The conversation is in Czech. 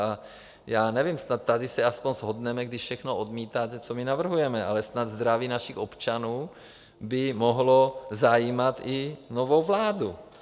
A já nevím, snad tady se aspoň shodneme, když všechno odmítáte, co my navrhujeme, ale snad zdraví našich občanů by mohlo zajímat i novou vládu.